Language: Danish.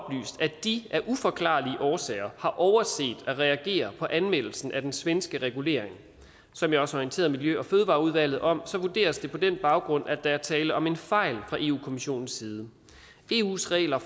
at de af uforklarlige årsager har overset at reagere på anmeldelsen af den svenske regulering som jeg også har orienteret miljø og fødevareudvalget om vurderes det på den baggrund at der er tale om en fejl fra europa kommissionens side eus regler